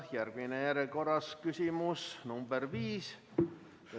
Järgmine on järjekorras küsimus nr 5.